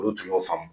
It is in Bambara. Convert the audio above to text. Olu tun y'o faamu